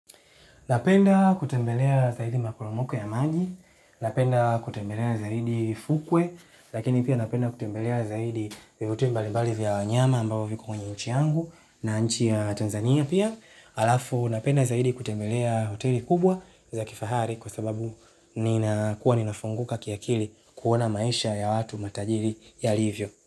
Napenda kutembelea zaidi maporomoko ya maji, napenda kutembelea zaidi fukwe, lakini pia napenda kutembelea zaidi hoteli mbalibali vya wanyama ambao viko kwenye nchi yangu na nchi ya Tanzania pia. Halafu napenda zaidi kutembelea hoteli kubwa za kifahari kwa sababu ninakuwa ninafunguka kiakili kuona maisha ya watu matajiri yalivyo.